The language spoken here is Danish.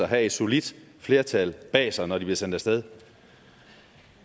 har et solidt flertal bag sig når de bliver sendt af sted